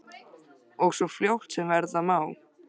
Og svo fljótt sem verða má.